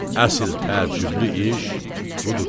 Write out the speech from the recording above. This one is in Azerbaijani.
Əsl təəccüblü iş budur.